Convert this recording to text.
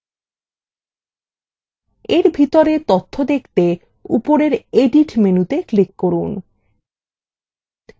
এর ভিতরের তথ্য দেখতে উপরের edit মেনুতে click করুন